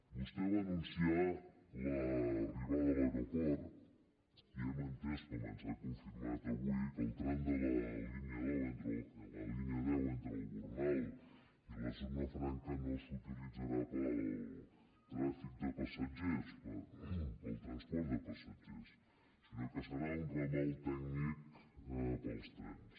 vostè va anunciar l’arribada a l’aeroport i hem entès com ens ha confirmat avui que el tram de la línia deu entre el gornal i la zona franca no s’utilitzarà per al trànsit de passatgers per al transport de passatgers sinó que serà un ramal tècnic per als trens